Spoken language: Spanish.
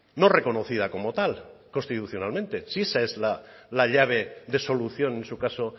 no reconocida como tal constitucionalmente si esa es la llave de solución en su caso